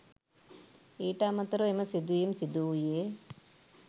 ඊට අමතරව එම සිදුවීම සිදු වුයේ